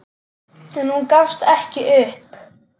En hún gafst ekki upp.